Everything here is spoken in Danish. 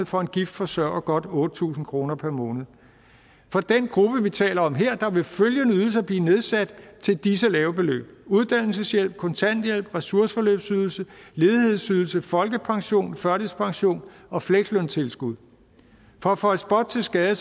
for en gift forsørger godt otte tusind kroner per måned for den gruppe vi taler om her vil følgende ydelser blive nedsat til disse lave beløb uddannelseshjælp kontanthjælp ressourceforløbsydelse ledighedsydelse folkepension førtidspension og fleksløntilskud for at føje spot til skade